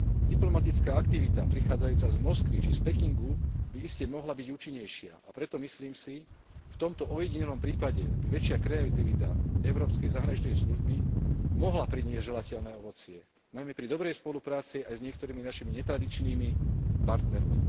Diplomatická aktivita prichádzajúca z Moskvy či Pekingu by iste mohla byť účinnejšia, a preto, myslím si, v tomto ojedinelom prípade by väčšia kreativita európskej zahraničnej služby mohla priniesť želateľné ovocie, najmä pri dobrej spolupráci aj s niektorými našimi netradičnými partnermi.